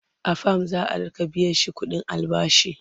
a fam za'a Rika biyashi ƙuɗin albashi